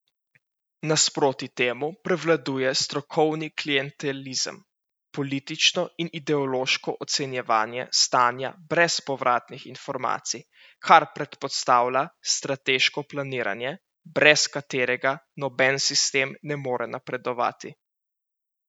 Nasproti temu prevladuje strokovni klientelizem, politično in ideološko ocenjevanje stanja brez povratnih informacij, kar predpostavlja strateško planiranje, brez katerega noben sistem ne more napredovati.